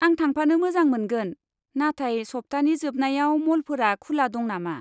आं थांफानो मोजां मोनगोन, नाथाय सप्तानि जोबनायाव मलफोरा खुला दं नामा?